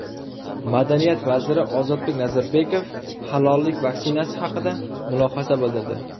Madaniyat vaziri Ozodbek Nazarbekov halollik vaksinasi haqida mulohaza bildirdi.